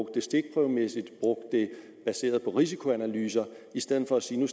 det stikprøvemæssigt brugte det baseret på risikoanalyser i stedet for at sige